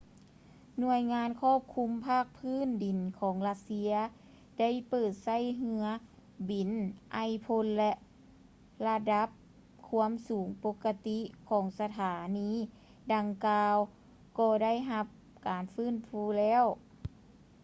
ໜ່ວຍງານຄວບຄຸມພາກພື້ນດິນຂອງລັດເຊຍ ໄດ້ເປີດໃຊ້ເຮືອບິນໄອພົ່ນ ແລະ ລະດັບຄວາມສູງປົກກະຕິຂອງສະຖານີດັ່ງກ່າວກໍໄດ້ຮັບການຟື້ນຟູແລ້ວ